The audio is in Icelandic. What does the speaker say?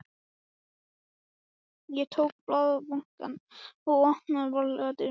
Ég tók blaðabunkann og opnaði varlega dyrnar.